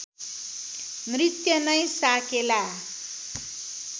नृत्य नै साकेला